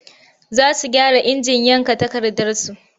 Za su gyara injin yanka takardarsu.